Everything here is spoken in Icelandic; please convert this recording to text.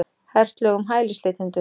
Hert lög um hælisleitendur